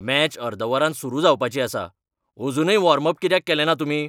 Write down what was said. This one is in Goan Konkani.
मॅच अर्द वरान सुरू जावपाची आसा. अजूनय वॉर्म अप कित्याक केलेंना तुमी?